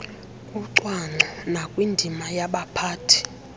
kucwangco nakwindima yabaphathi